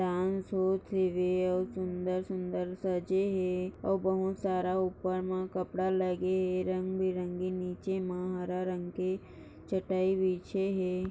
और सुंदर-सुंदर सजे है और बहुत सारा उपर मा कपड़ा लगे है रंगीबीरंगी नीचे मा हरा रंग के चटई बिचे है।